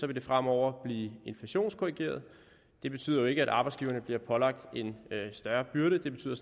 det fremover blive inflationskorrigeret det betyder jo ikke at arbejdsgiverne bliver pålagt en større byrde det betyder